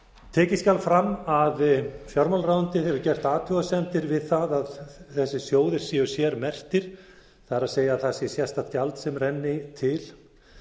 tekið skal fram að fjármálaráðuneytið hefur gert athugasemdir við það að þessir sjóðir séu sérmerktir það er það sé sérstakt gjald sem renni til